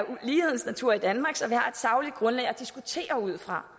lighedens natur i danmark så vi har et sagligt grundlag at diskutere ud fra